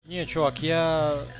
не чувак я